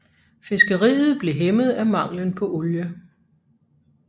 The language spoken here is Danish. Fiskeriet blev hæmmet af manglen på olie